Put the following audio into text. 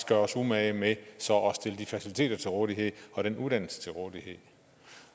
gør os umage med så at stille de faciliteter til rådighed og den uddannelse til rådighed